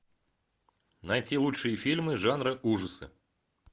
найти лучшие фильмы жанра ужасы